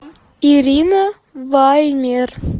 ирина ваймер